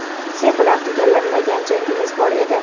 "Sen bilan tugallanmagan jangimiz bor edi".